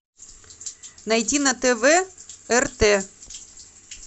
найти на тв рт